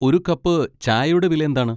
ഒരു കപ്പ് ചായയുടെ വില എന്താണ്?